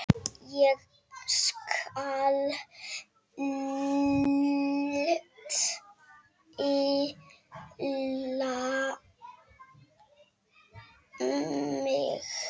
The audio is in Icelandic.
Ég skal stilla mig.